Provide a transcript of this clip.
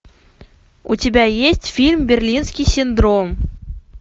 у тебя есть фильм берлинский синдром